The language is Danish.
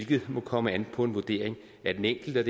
det må komme an på en vurdering af den enkelte